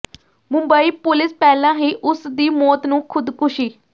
Mumbai police ਪਹਿਲਾਂ ਹੀ ਉਸ ਦੀ ਮੌਤ ਨੂੰ ਖੁਦਕੁਸ਼ੀ